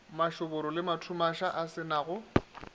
mašoboro le mathumaša a senago